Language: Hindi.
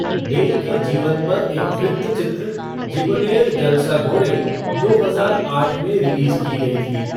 डे के जीवन पर एक वृत्तचित्र, जीबनेर जलसाघोरे, दो हजार आठ में रिलीज़ की गई थी।